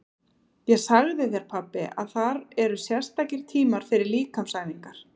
Ég sagði þér pabbi að þar eru sérstakir tímar fyrir líkamsæfingar.